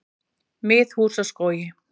Miðhúsaskógi